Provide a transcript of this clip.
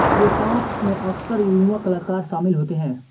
K-pop में अक्सर युवा कलाकार शामिल होते हैं